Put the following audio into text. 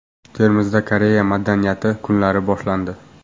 Termizda Koreya madaniyati kunlari boshlandi.